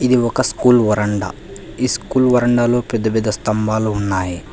ఇది ఒక స్కూల్ వరండా ఈ స్కూలు వరండాలో పెద్ద పెద్ద స్తంభాలు ఉన్నాయి.